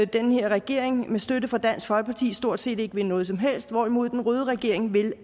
den her regering med støtte fra dansk folkeparti stort set ikke vil noget som helst hvorimod en rød regeringen vil